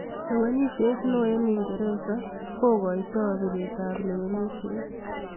Lewenisiet neo eng uingeresa...kakotai piret ap lewenisiet